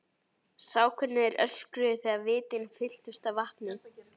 Sá hvernig þau öskruðu þegar vitin fylltust af vatni.